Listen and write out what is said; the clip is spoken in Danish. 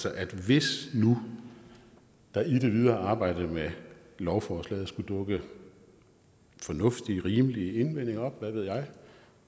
at hvis nu der i det videre arbejde med lovforslaget skulle dukke fornuftige rimelige indvendinger op hvad ved jeg